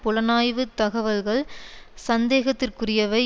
புலனாய்வு தகவல்கள் சந்தேகத்திற்க்குரியவை